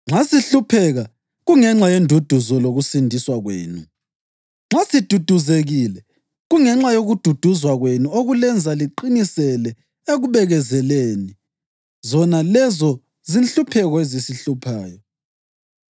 Nxa sihlupheka, kungenxa yenduduzo lokusindiswa kwenu; nxa siduduzekile, kungenxa yokududuzwa kwenu okulenza liqinisele ekubekezeleleni zona lezo zinhlupheko ezisihluphayo.